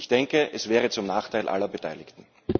Ich denke, es wäre zum Nachteil aller Beteiligten.